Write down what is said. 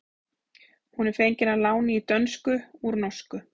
Hún er fengin að láni í dönsku úr norsku.